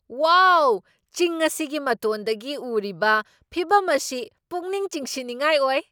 ꯋꯥꯎ! ꯆꯤꯡ ꯑꯁꯤꯒꯤ ꯃꯇꯣꯟꯗꯒꯤ ꯎꯔꯤꯕ ꯐꯤꯚꯝ ꯑꯁꯤ ꯄꯨꯛꯅꯤꯡ ꯆꯤꯡꯁꯤꯟꯅꯤꯡꯉꯥꯏ ꯑꯣꯏ!